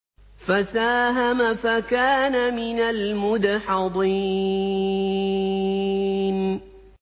فَسَاهَمَ فَكَانَ مِنَ الْمُدْحَضِينَ